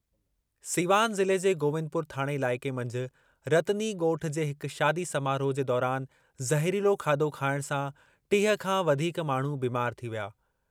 सीवान ज़िले जे गोविंदपुर थाणे इलाइक़े मंझि रतनी ॻोठ जे हिक शादी समारोह जे दौरान ज़हरीलो खाधो खाइण सां टीह खां वधीक माण्हू बीमार थी विया।